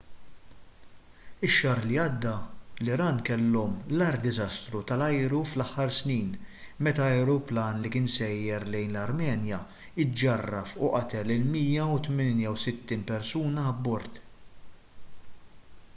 ix-xahar li għadda l-iran kellhom l-agħar diżastru tal-ajru fl-aħħar snin meta ajruplan li kien sejjer lejn l-armenja ġġarraf u qatel l-168 persuna abbord